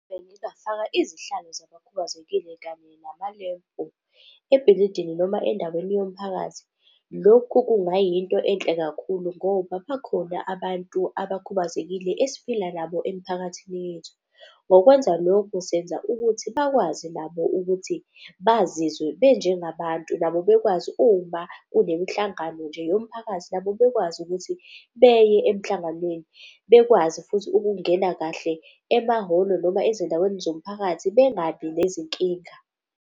Bengingafaka izihlalo zabakhubazekile kanye namalempu ebhilidini noma endaweni yomphakathi. Lokhu kungayinto enhle kakhulu ngoba bakhona abantu abakhubazekile esiphila nabo emiphakathini yethu. Ngokwenza lokhu, senza ukuthi bakwazi nabo ukuthi bazizwe benjengabantu nabo bekwazi uma kunemihlangano nje yomphakathi nabo bekwazi ukuthi beye emhlanganweni. Bekwazi futhi ukungena kahle emahholo noma ezindaweni zomphakathi bengabi nezinkinga.